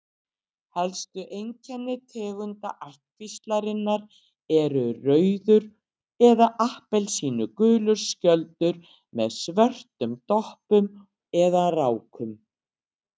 Helstu einkenni tegunda ættkvíslarinnar eru rauður eða appelsínugulur skjöldur með svörtum doppum eða rákum.